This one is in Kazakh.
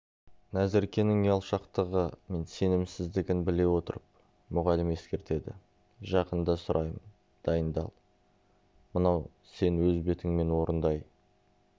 назеркенің ұялшақтығы мен сенімсіздігін біле отырып мұғалім ескертеді жақында сұраймын дайындал мынау сен өз бетіңмен орындай